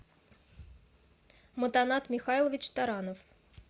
мутанат михайлович таранов